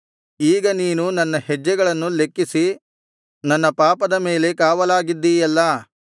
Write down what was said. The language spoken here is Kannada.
ಈಗ ನೀನು ನನ್ನ ಹೆಜ್ಜೆಗಳನ್ನು ಲೆಕ್ಕಿಸಿ ನನ್ನ ಪಾಪದ ಮೇಲೆ ಕಾವಲಾಗಿದ್ದೀಯಲ್ಲಾ